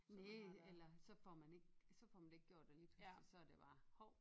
Næ eller så får man ikke så får man det ikke gjort og lige pludselig så er det bare hov